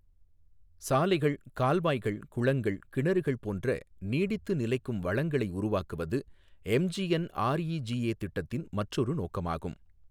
சாலைகள், கால்வாய்கள், குளங்கள், கிணறுகள் போன்ற நீடித்து நிலைக்கும் வளங்களை உருவாக்குவது எம்ஜிஎன்ஆர்இஜிஏ திட்டத்தின் மற்றொரு நோக்கமாகும்.